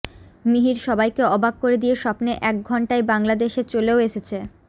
মিহির সবাইকে অবাক করে দিয়ে স্বপ্নে এক ঘন্টায় বাংলাদেশে চলেও এসেছে